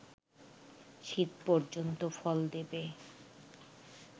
শীত পর্যন্ত ফল দেবে